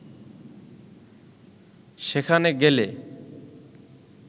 সেখানে গেলে